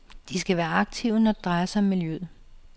De skal være aktive, når det drejer sig om miljøet.